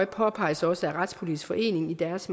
påpeges også af retspolitisk forening i deres